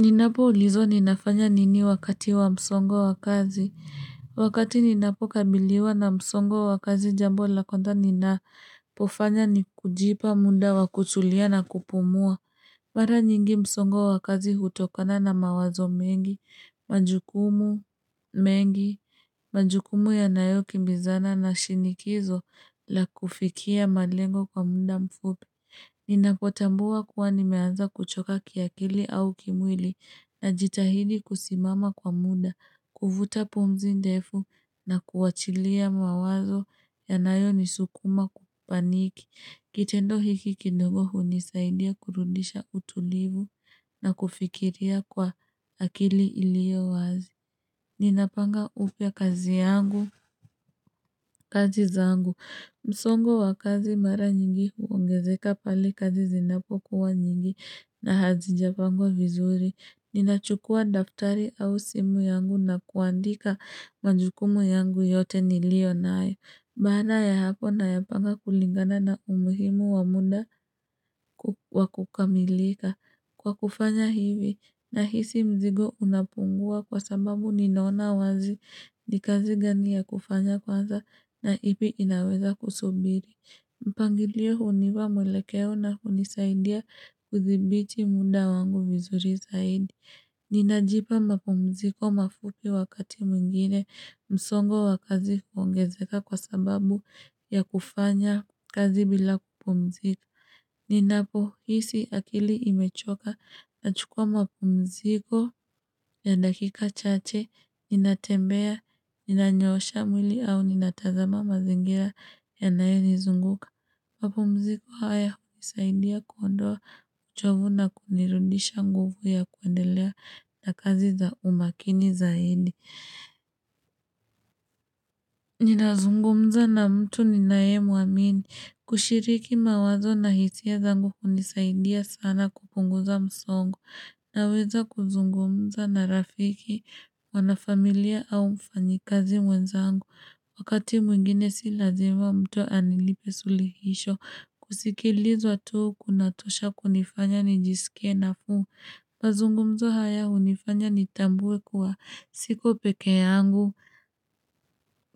Ninapoulizwa ninafanya nini wakati wa msongo wa kazi. Wakati ninapokabiliwa na msongo wa kazi jambo la kwanza ninapofanya ni kujipa muda wa kutulia na kupumua. Mara nyingi msongo wa kazi hutokana na mawazo mengi, majukumu mengi, majukumu yanayokimbizana na shinikizo la kufikia malengo kwa muda mfupi. Ninapotambua kuwa nimeanza kuchoka kiakili au kimwili najitahidi kusimama kwa muda, kuvuta punzi ndefu na kuachilia mawazo yanayonisukuma kupaniki. Kitendo hiki kidogo hunisaidia kurudisha utulivu na kufikiria kwa akili ilio wazi. Ninapanga upya kazi yangu, kazi zangu msongo wa kazi mara nyingi huongezeka pale kazi zinapokuwa nyingi na hazijapangwa vizuri Ninachukua daftari au simu yangu na kuandika majukumu yangu yote nilio nayo Baana ya hapo nayapanga kulingana na umuhimu wa muda wa kukamilika Kwa kufanya hivi na hisi mzigo unapungua kwa sababu ninaona wazi ni kazi gani ya kufanya kwanza na ipi inaweza kusubiri. Mpangilio hunipa mwelekeo na hunisaidia kudhibiti muda wangu vizuri zaidi. Ninajipa mapumziko mafupi wakati mwingine msongo wa kazi huongezeka kwa sababu ya kufanya kazi bila kupumzika. Ninapohisi akili imechoka nachukua mapumziko ya dakika chache, ninatembea, ninanyoosha mwili au ninatazama mazingira yanayonizunguka. Mapumziko haya hunisaidia kuondoa uchovu na kunirudisha nguvu ya kuendelea na kazi za umakini za hindi. Ninazungumza na mtu ninaemwamini kushiriki mawazo na hisia zangu kunisaidia sana kupunguza msongo Naweza kuzungumza na rafiki wanafamilia au mfanyikazi mwenzangu Wakati mwingine si lazima mtu anilipe sulihisho kusikilizwa tu kunatosha kunifanya nijisike nafuu mazungumzo haya hunifanya nitambue kuwa siko peke yangu